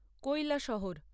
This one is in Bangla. কৈলাসহর